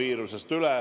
Aitäh teile!